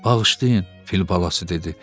Bağışlayın, fil balası dedi.